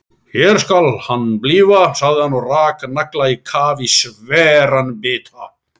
Hér skal hann blífa, sagði hann og rak nagla á kaf í sveran bita.